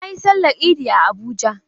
Na yi Sallar Idi a Abuja.